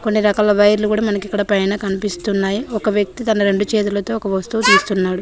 అన్ని రకాల వైర్లు కూడా మనకుఇక్కడ కనిపిస్తున్నాయి ఒక వ్యక్తి తన రెండు చేతులతో ఒక వస్తువు తీస్తున్నాడు.